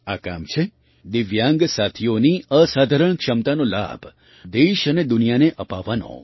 આ કામ છે દિવ્યાંગ સાથીઓની અસાધારણ ક્ષમતાનો લાભ દેશ અને દુનિયાને અપાવવાનો